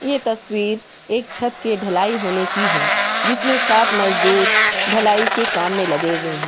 ये तस्वीर एक छत के ढलाई होने की है जिसमें सात मजदूर ढलाई के काम में लगे हुए है।